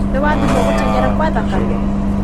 Nĩ wathimwo gũteng'era kwa thakame?